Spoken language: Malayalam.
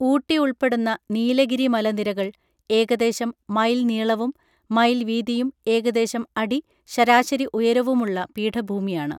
ഊട്ടി ഉൾപ്പെടുന്ന നീലഗിരി മലനിരകൾ ഏകദേശം മൈൽ നീളവും മൈൽ വീതിയും ഏകദേശം അടി ശരാശരി ഉയരവുമുള്ള പീഠഭൂമിയാണ്